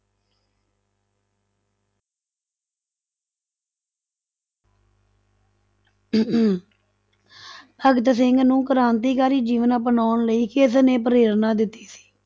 ਭਗਤ ਸਿੰਘ ਨੂੰ ਕ੍ਰਾਂਤੀਕਾਰੀ ਜੀਵਨ ਅਪਨਾਉਣ ਲਈ ਕਿਸਨੇ ਪ੍ਰੇਰਨਾ ਦਿੱਤੀ ਸੀ?